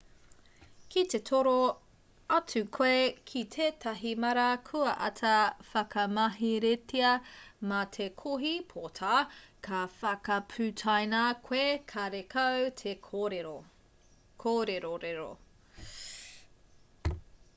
ki te toro atu koe ki tētahi māra kua āta whakamaheretia mā te kohi pota ka whakaputaina koe karekau te kōrerorero